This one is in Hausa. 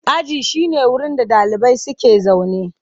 Aji shine wurin da ɗalibai suke zaune.